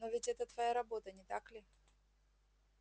но ведь это твоя работа не так ли